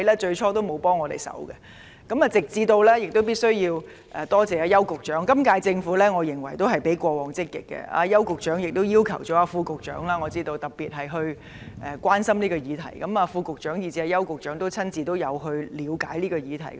就此，我必須感謝邱騰華局長，我認為今屆政府較過往積極，我知道邱局長特別要求副局長關心這項議題，邱局長和副局長也有親自了解問題。